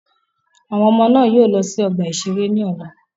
Àwọn ọmọ náà yóò lọ sí ọgbà-ìṣeré lọ́la.